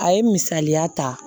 A ye misaliya ta